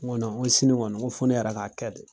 Nko sini kɔni, nko fo ne yɛrɛ k' kɛ de